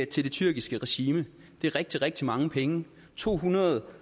til det tyrkiske regime det er rigtig rigtig mange penge to hundrede og